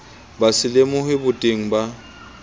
ba se lemohe boteng ba